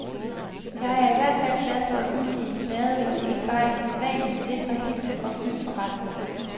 Jeg er i hvert fald glad for at udgive en plade, hvor der ikke bare er de sædvanlige sikre hits og fyld for resten.